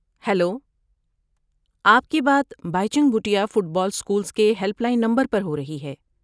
Hello, آپ کی بات Baichung Bhutia football schools کے ہیلپ لائن نمبر پر ہو رہی ہے۔